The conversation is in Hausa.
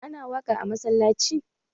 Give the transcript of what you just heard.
Ana waƙa a masallanci?